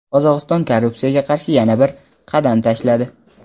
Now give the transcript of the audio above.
Qozog‘iston korrupsiyaga qarshi yana bir "qadam tashladi".